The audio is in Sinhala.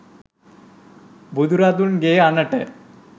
බුදුරදුන්ගේ අණට